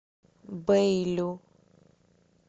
бэйлю